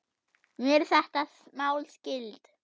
Mér er þetta mál skylt.